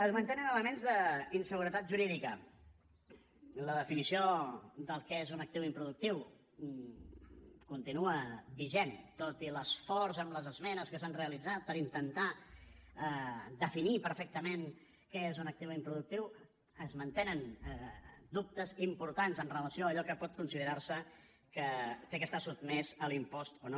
es mantenen elements d’inseguretat jurídica en la definició del que és un actiu improductiu continua vigent tot i l’esforç amb les esmenes que s’han realitzat per intentar definir perfectament què és un actiu improductiu es mantenen dubtes importants amb relació a allò que pot considerar se que ha d’estar sotmès a l’impost o no